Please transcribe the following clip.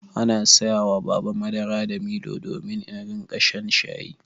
An saya wa Baba madara da milo domin in riƙa shan shayi.